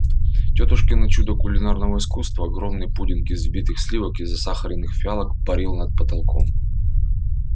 тётушкино чудо кулинарного искусства огромный пудинг из взбитых сливок и засахаренных фиалок парил над потолком